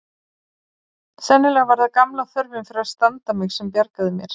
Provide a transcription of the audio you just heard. Sennilega var það gamla þörfin fyrir að standa mig sem bjargaði mér.